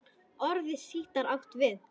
Orðið sítar átt við